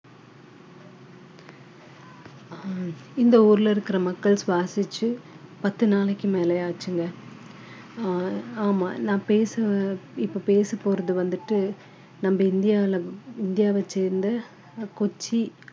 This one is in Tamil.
ஆஹ் இந்த ஊர்ல இருக்கிற மக்கள் சுவாசிச்சு பத்து நாளைக்கு மேல ஆச்சுங்க ஆஹ் ஆமா நான் பேச இப்ப பேசப்போறது வந்துட்டு நம்ம இந்தியால இந்தியாவைச் சேர்ந்த ஆஹ் கொச்சி